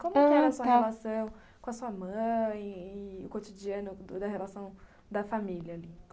Como que era a sua relação com a sua mãe e o cotidiano da relação da família ali?